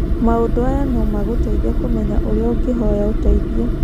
Maũndu aya no magũteithie kũmenya ũrĩa ũngĩhoya ũteithio.